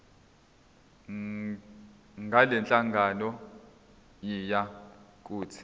ngalenhlangano yiya kut